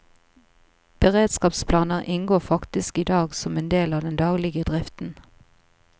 Beredskapsplaner inngår faktisk i dag som en del av den daglige driften.